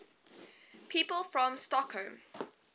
people from stockholm